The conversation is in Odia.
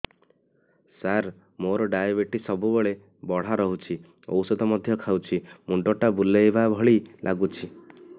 ସାର ମୋର ଡାଏବେଟିସ ସବୁବେଳ ବଢ଼ା ରହୁଛି ଔଷଧ ମଧ୍ୟ ଖାଉଛି ମୁଣ୍ଡ ଟା ବୁଲାଇବା ଭଳି ଲାଗୁଛି